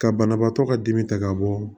Ka banabaatɔ ka dimi ta ka bɔ